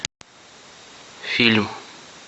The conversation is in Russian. фильм